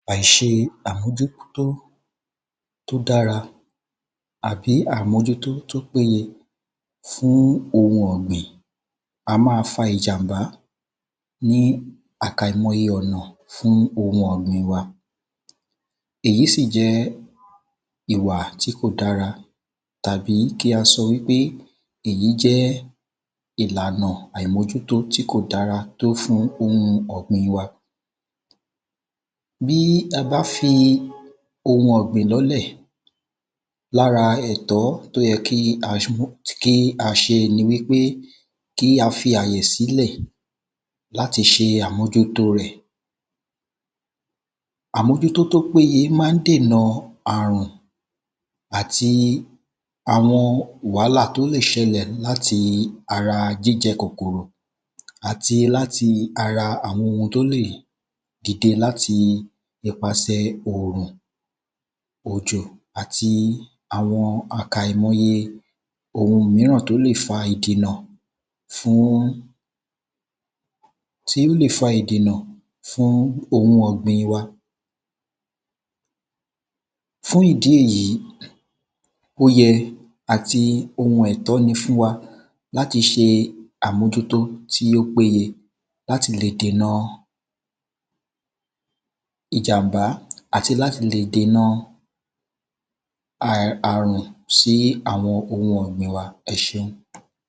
àìse àmójútó tó dára àbí àmójútó tó péye fún ohun ọ̀gbìn a máa fa ìjàmbá ní àkàìmoye ọ̀nà fún ohun ọ̀gbìn wa èyí sì jẹ́ ìwà tí kò dára tàbí kí a sọ wípé èyí jẹ́ ìlànà àìmójútó tí kò dára tó fún ohun ọ̀gbìn wa bí a bá fi ohun ọ̀gbìn lọ́lẹ̀, lára ẹ̀tọ́ tó yẹ kí a mójú kí a ṣe ni wípé kí a fi àyè sílẹ̀ láti ṣe àmójútó rẹ̀ àmójútó tó péye máa ń dènà àrun àti wàhálà tó lè ṣẹlẹ̀ láti ara jíjẹ kòkórò àti láti ara àwọn ohun tó lè dìde láti ipàsẹ̀ òrùn, òjò, àti àwọn àìkàìmoye ohun míràn tó lè fa ìdènà fún, tí ó lè fa ìdèna fún ohun ọ̀gbìn wa. fún ìdí èyí, ó yẹ àti ohun ẹ̀tọ́ ni fún wa láti ṣe àmójútó tí ó péye láti lè dènà ìjàmbá àti láti lè dènà a àrùn sí ohun ọ̀gbìn wa. ẹ ṣé.